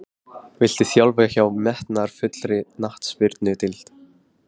Viltu þjálfa hjá metnaðarfullri knattspyrnudeild?